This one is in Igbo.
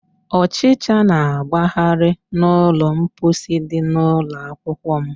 Ọchịcha na-agbagharị n'ụlọ mposi dị n'ụlọakwukwọ m.